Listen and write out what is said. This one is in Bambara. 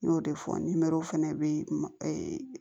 N y'o de fɔ ni mɛriw fɛnɛ bɛ